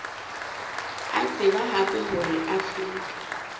a tseba hape hore afrika